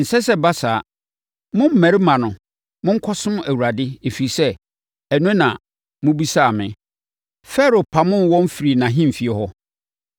Ɛnsɛ sɛ ɛba saa. Mo mmarima no, monkɔsom Awurade, ɛfiri sɛ, ɛno na mobisaa me.” Farao pamoo wɔn firii nʼahemfie hɔ.